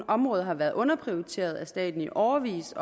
område har været underprioriteret af staten i årevis